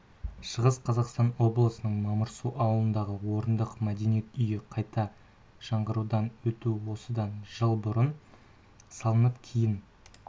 шығыс қазақстан облысының мамырсу ауылындағы орындық мәдениет үйі қайта жаңғыртудан өтуде осыдан жыл бұрын салынып кейін